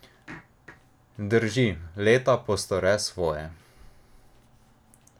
Drži, leta postore svoje.